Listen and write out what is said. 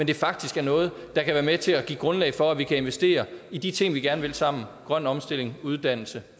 det faktisk er noget der kan være med til at give grundlag for at vi kan investere i de ting vi gerne vil sammen grøn omstilling uddannelse